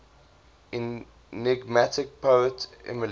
enigmatic poet emily